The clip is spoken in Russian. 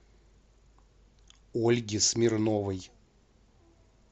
ольге смирновой